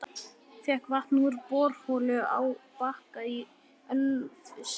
Fékk vatn úr borholu á Bakka í Ölfusi.